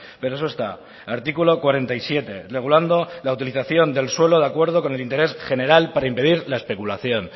pero eso está artículo cuarenta y siete regulando la utilización del suelo de acuerdo con el interés general para impedir la especulación